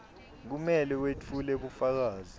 kumele wetfule bufakazi